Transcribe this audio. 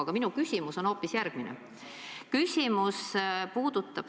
Aga minu küsimus on hoopis järgmine.